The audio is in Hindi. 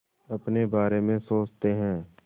अपने बारे में सोचते हैं